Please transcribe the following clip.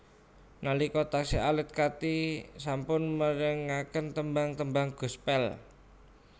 Nalika taksih alit Katy sampun mirengaken tembang tembang gospel